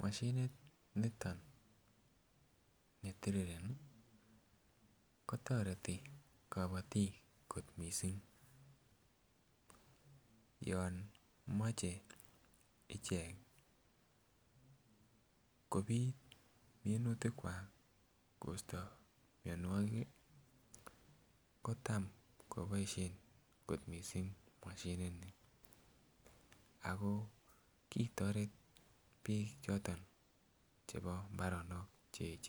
moshinit niton netirireni kotoreti kabotiik kot missing yon moche ichek kobit minutik kwak kosto mionwogik ih kotam koboisien kot missing moshinit ni ako kitoret biik choton chebo mbaronok cheechen